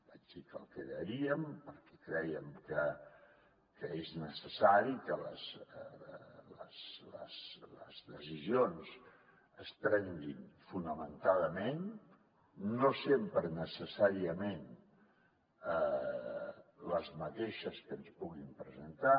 vaig dir que el crearíem perquè creiem que és necessari que les decisions es prenguin fonamentadament no sempre necessàriament les mateixes que ens puguin presentar